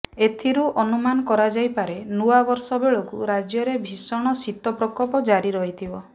ଏଥିରୁ ଅନୁମାନ କରାଯାଇପାରେ ନୂଆବର୍ଷ ବେଳକୁ ରାଜ୍ୟରେ ଭୀଷଣ ଶୀତ ପ୍ରକୋପ ଜାରି ରହିଥିବ